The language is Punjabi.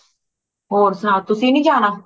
ਹੋਰ ਸੁਣਾਓ ਤੁਸੀ ਨਹੀਂ ਜਾਣਾ